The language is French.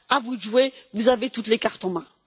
À vous de jouer, vous avez toutes les cartes en main!